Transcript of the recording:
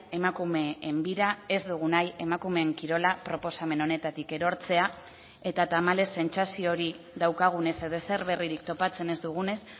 emakumeen bira ez dugu nahi emakumeen kirola proposamen honetatik erortzea eta tamalez sentsazio hori daukagunez edo ezer berririk topatzen ez dugunez